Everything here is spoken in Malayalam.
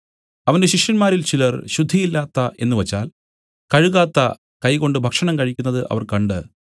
അവന്റെ ശിഷ്യന്മാരിൽ ചിലർ ശുദ്ധിയില്ലാത്ത എന്നുവച്ചാൽ കഴുകാത്ത കൈകൊണ്ട് ഭക്ഷണം കഴിക്കുന്നത് അവർ കണ്ട്